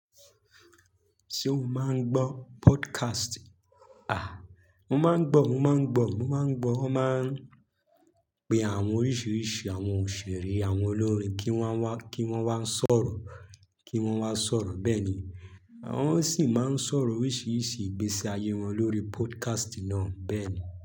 Ṣé o máa ń gbọ́ podcast? A! Mo máa ń gbọ́, mo máa ń gbọ́, mo máa ń gbọ́. Wọ́n máa ń pe àwọn oríṣiríṣi àwọn òṣèré, àwọn olórin kí wọ́n wá, kí wọ́n wá sọ̀rọ̀, kí wọ́n wá sọ̀rọ̀ bẹ́ẹ̀ ni. Àwọn sì máa ń sọ̀rọ̀ oríṣiríṣi ìgbésí ayé wọn lórí podcast náà bẹ́ẹ̀ ni.